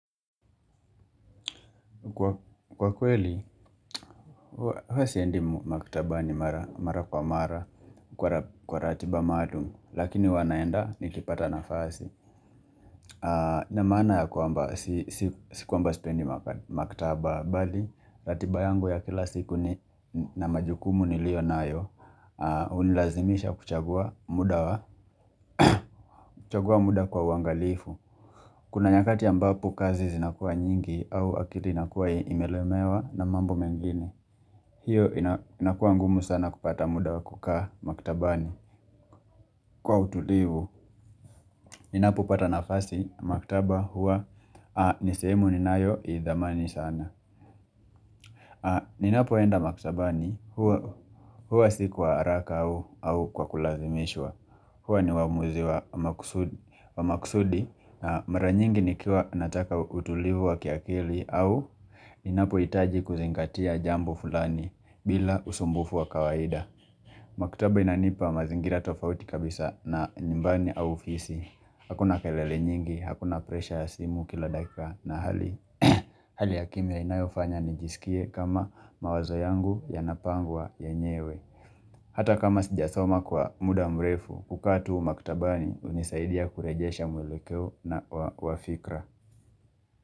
Kwa kweli, huwa siendi maktabani mara kwa mara kwa ratiba maalum, lakini huwa naenda nikipata nafasi. Na maana ya kwamba, si kwamba sipendi maktaba bali ratiba yangu ya kila siku na majukumu niliyo nayo hunilazimisha kuchagua muda wa, kuchagua muda kwa uangalifu. Kuna nyakati ambapo kazi zinakuwa nyingi au akili inakuwa imelemewa na mambo mengine. Hiyo inakua ngumu sana kupata muda wa kukaa maktabani. Kwa utulivu, ninapo pata nafasi maktaba huwa ni sehemu ninayo idhamani sana. Ninapoenda maktabani huwa si kwa haraka au kwa kulazimishwa. Huwa ni uamuzi wa makusudi na mara nyingi nikiwa nataka utulivu wa kiakili au ninapohitaji kuzingatia jambo fulani bila usumbufu wa kawaida. Maktaba inanipa mazingira tofauti kabisa na nyumbani au ofisi Hakuna kelele nyingi, hakuna presha ya simu kila dakika, na Hali ya kimya inayofanya nijisikie kama mawazo yangu yanapangwa yenyewe. Hata kama sijasoma kwa muda mrefu, kukaa tu maktabani hunisaidia kurejesha mwelekeo wa fikra.